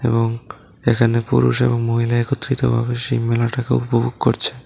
এবং এখানে পুরুষ এবং মহিলা একত্রিতভাবে শিব মেলাটাকে উপভোগ করছে।